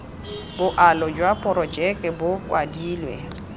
boalo jwa porojeke bo kwadilwe